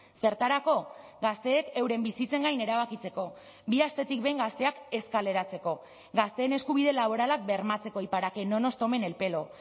zertarako gazteek euren bizitzen gain erabakitzeko bi astetik behin gazteak ez kaleratzeko gazteen eskubide laboralak bermatzeko y para que no nos tomen el pelo